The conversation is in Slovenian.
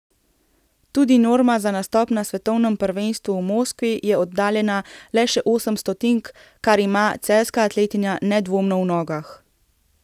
Tudi norma za nastop na svetovnem prvenstvu v Moskvi je oddaljena le še osem stotink, kar ima celjska atletinja nedvomno v nogah.